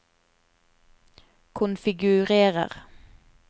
konfigurer